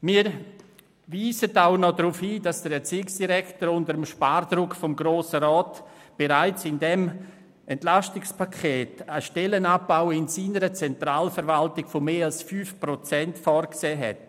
Wir weisen auch noch darauf hin, dass der Erziehungsdirektor unter dem Spardruck des Grossen Rats bereits einen Stellenabbau in seiner Zentralverwaltung von mehr als 5 Prozent vorgesehen hat.